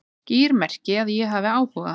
Skýr merki að ég hafi áhuga